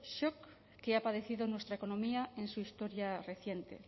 shock que ha padecido nuestra economía en su historia reciente